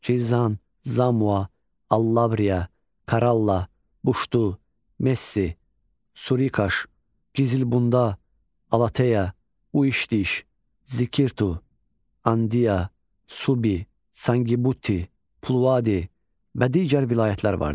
Gilzan, Zamua, Allabriya, Karalla, Buşdu, Messi, Surikaş, Kizilbunda, Alateya, Uiştidiş, Zikirtu, Andiya, Subi, Sangi Butti, Pulvadi və digər vilayətlər vardı.